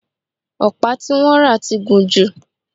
ọ̀pá tí wọ́n rà ti gùn jù